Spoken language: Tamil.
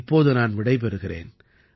இப்போது நான் விடை பெறுகிறேன்